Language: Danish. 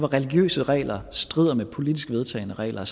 religiøse regler strider mod politisk vedtagne regler